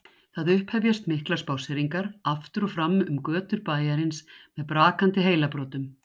Það upphefjast miklar spásseringar aftur og fram um götur bæjarins með brakandi heilabrotum.